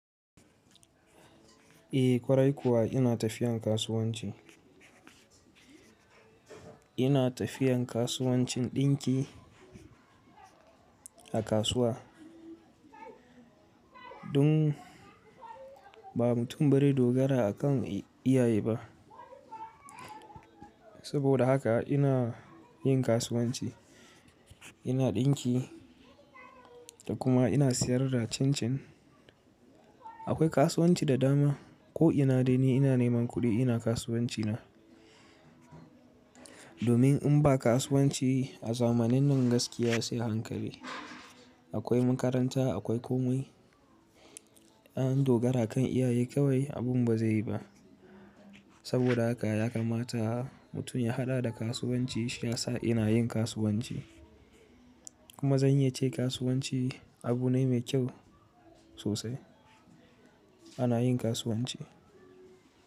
Eh kwarai kuwa ina tafiyan kasuwanci. Ina tafiyan kasuwancin ɗinki a kasuwa. Dun ba mutum bari dogara akan iyaye ba. Saboda haka ina yin kasuwanci, ina ɗinki da kuma ina siyar da cin cin. Akwai kasuwanci da dama ko ina dai ni ina neman kuɗi ina kasuwanci na. Domin in ba kasuwanci a zamanin nan gaskiya sai hankali. Akwai makaranta, akwai komai. Ɓa an dogara kan iyaye kawai abun ba zai yi ba. Saboda haka ya kamata mutum ya haɗa da kasuwanci shi ya sa ina yin kasuwanci. Kuma zan yi ce kasuwanci abu ne mai kyau sosai. Ana yin kasuwanci.